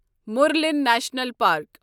Murlen national park